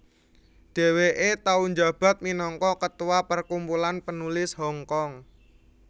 Dheweke tau njabat minangka ketua Perkumpulan Penulis Hongkong